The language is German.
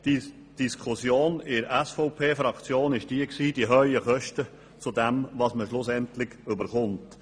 Die Diskussion in der SVP drehte sich um die hohen Kosten im Verhältnis zu dem, was man schlussendlich erhält.